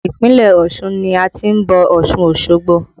Ìpínlẹ̀ Ọ̀ṣun ni a ti ń bọ̀ Ọ̀ṣun Osogbo